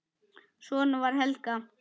Svona var Helga.